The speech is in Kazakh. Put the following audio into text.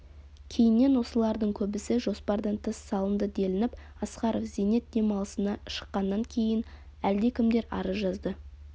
кейіннен осылардың көбісі жоспардан тыс салынды делініп асқаров зейнет демалысына шыққаннан кейін әлдекімдер арыз жазды